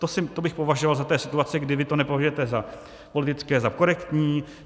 To bych považoval za té situace, kdy vy to nepovažujete za politické, za korektní.